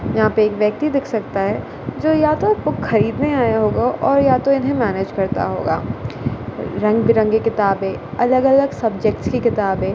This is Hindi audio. यहां पे एक व्यक्ति दिख सकता है जो या तो बुक खरीदने आया होगा और या तो इन्हें मैनेज करता होगा रंग बिरंगे किताबें अलग अलग सब्जेक्ट्स की किताबें--